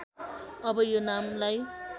अब यो नामलाई